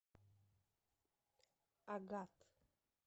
агат